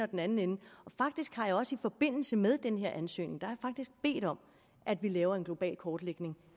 den anden ende og faktisk har jeg også i forbindelse med den her ansøgning bedt om at vi laver en global kortlægning